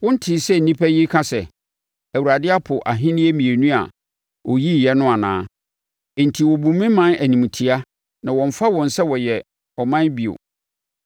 “Wontee sɛ nnipa yi reka sɛ, ‘ Awurade apo ahennie mmienu a ɔyiiɛ no’ anaa? Enti wɔbu me ɔman animtia na wɔmmfa wɔn sɛ wɔyɛ ɔman bio.